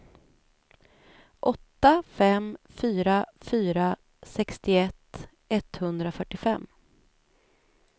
åtta fem fyra fyra sextioett etthundrafyrtiofem